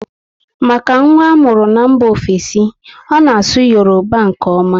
Maka nwa amuru n'mba ofesi, ọ na asụ Yoruba nke oma